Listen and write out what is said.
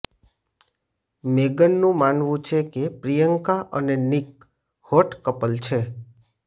મેગનનું માનવું છે કે પ્રિયંકા અને નિક હોટ કપલ છે